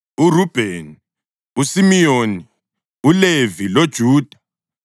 uRubheni, uSimiyoni, uLevi loJuda;